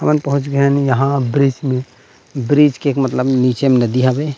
हमन पहुँच गये हे यहाँ ब्रिज में ब्रिज के मतलब निचे में नदी हावे।